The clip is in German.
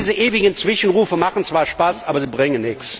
Und diese ewigen Zwischenrufe machen zwar Spaß, bringen